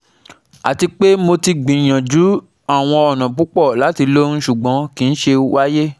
Ati pe Mo ti gbiyanju awọn ọna pupọ lati loyun ṣugbọn kii ṣe waye